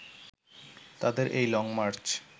তাদের এই লংমার্চ